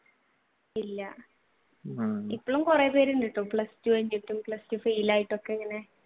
ഇല്ല ഇപ്പോഴും കുറെ പേർ ഉണ്ടെട്ടോ plus two കഴിഞ്ഞിട്ടും plus two fail ആയിട്ടൊക്കെ ഇങ്ങനെ